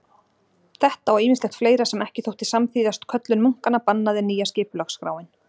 Þetta og ýmislegt fleira sem ekki þótti samþýðast köllun munkanna bannaði nýja skipulagsskráin.